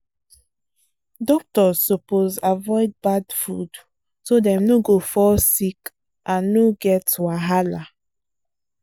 doctors suppose avoid bad food so dem no go fall sick and no get wahala.